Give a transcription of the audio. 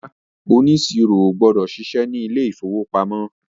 ràrá oniṣiro o gbọdọ ṣiṣẹ ní ilè ìfowópamọ́.